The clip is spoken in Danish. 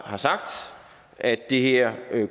har sagt at det her